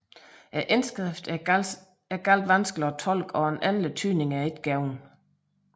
Indskriften er meget vanskelig at tolke og en endelig tydning er ikke givet